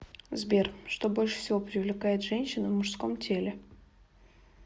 сбер что больше всего привлекает женщин в мужском теле